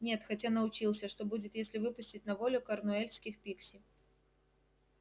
нет хотя научился что будет если выпустить на волю корнуэльских пикси